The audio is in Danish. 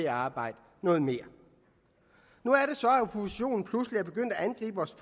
at arbejde noget mere nu er det så at oppositionen pludselig er begyndt at angribe vores